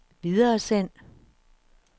videresend